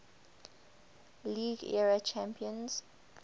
league era champions